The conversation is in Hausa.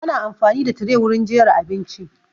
Ana amfani da tire wurin jera abinci